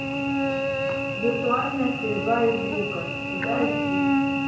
виртуальная стрельба из лука куда идти